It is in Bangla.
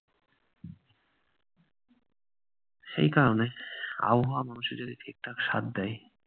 সেই কারণে আবহাওয়া মানুষের যদি ঠিকঠাক সাথ দেয়-